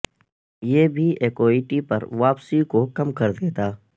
یہ بھی ایکوئٹی پر واپسی کو کم کر دیتا